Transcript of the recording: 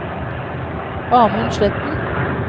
Amund Sletten